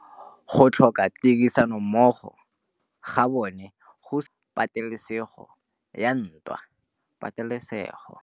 Go tlhoka tirsanommogo ga bone go simolotse patêlêsêgô ya ntwa.